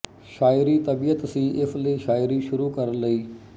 ਸ਼ਾਇਰੀ ਤਬੀਅਤ ਸੀ ਇਸ ਲਈ ਸ਼ਾਇਰੀ ਸ਼ੁਰੂ ਕਰ ਲਈ